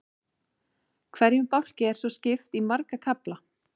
Hverjum bálki er svo skipt í marga kafla.